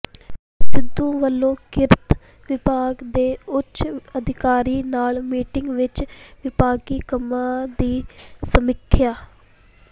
ਸਿੱਧੂ ਵੱਲੋਂ ਕਿਰਤ ਵਿਭਾਗ ਦੇ ਉੱਚ ਅਧਿਕਾਰੀਆਂ ਨਾਲ ਮੀਟਿੰਗ ਵਿੱਚ ਵਿਭਾਗੀ ਕੰਮਾਂ ਦੀ ਸਮੀਖਿਆ